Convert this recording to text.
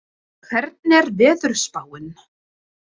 Örbrún, hvernig er veðurspáin?